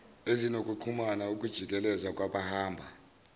ezinokuxhumana ukujikeleza kwabahamba